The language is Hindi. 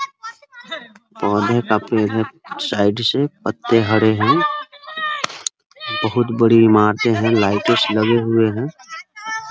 पौधे का पेड़ है साइड से पत्ते हरे हैं बहुत बड़ी इमारतें हैं लाइटें इसमें लगे हुए हैं ।